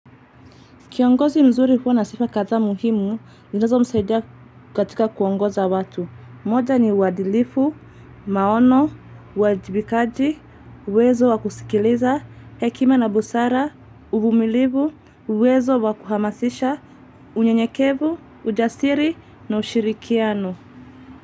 Kiongozi mzuri huwa na sifa kadhaa muhimu, zinazo msaidia katika kuongoza watu. Moja ni uwadilifu, maono, uwajibikaji, uwezo wakusikiliza, hekima na busara, uvumilivu, uwezo wakuhamasisha, unyenyekevu, ujasiri na ushirikiano.